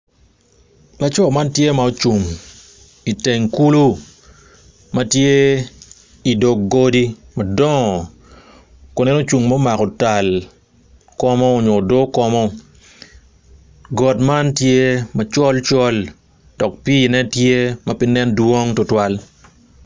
Laco man tye ma ocung iteng kulo ma tye odog godi madongo kun en ocung ma omako tal komo nyo odo komo got man tye macol col dok piine tye ma pe nen dwong tutwal.